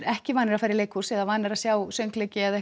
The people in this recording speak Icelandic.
ekki vanir að fara í leikhús eða vanir að sjá söngleiki eða